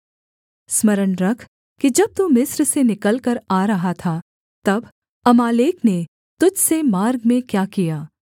स्मरण रख कि जब तू मिस्र से निकलकर आ रहा था तब अमालेक ने तुझ से मार्ग में क्या किया